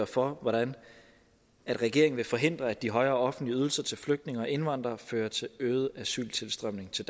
for hvordan regeringen vil forhindre at de højere offentlige ydelser til flygtninge og indvandrere fører til øget asyltilstrømning til